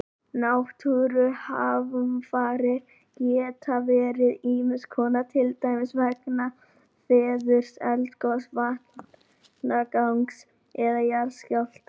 Náttúruhamfarir geta verið ýmis konar, til dæmis vegna veðurs, eldgoss, vatnagangs eða jarðskjálfta.